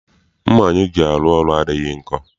Mma anyị ji arụ ọrụ adịghị nkọ.